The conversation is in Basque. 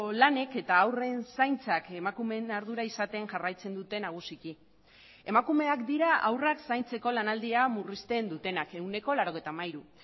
lanek eta haurren zaintzak emakumeen ardura izaten jarraitzen dute nagusiki emakumeak dira haurrak zaintzeko lanaldia murrizten dutenak ehuneko laurogeita hamairu